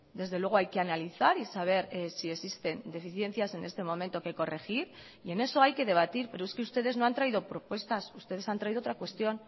desde luego hay que analizar y saber si existen deficiencias en este momento que corregir y en eso hay que debatir pero es que ustedes no han traído propuestas ustedes han traído otra cuestión